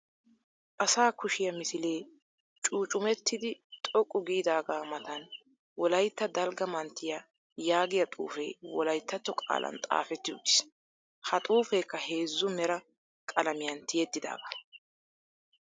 Asa kushiya misilee cuuccumettidi xoqqu giidaagaa matan wolaytta dalgga manttiya yaagiya xuufee wolayttatto qaalan xaafetti uttiis. Ha xuufeekka heezzu mera qalamiyan tiyettidaagaa.